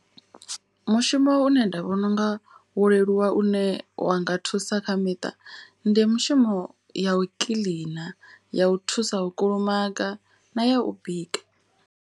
Mushumo une nda vhona unga wo leluwa une wa nga thusa kha miṱa. Ndi mushumo ya u kiḽina ya u thusa u kulumaga na ya u bika.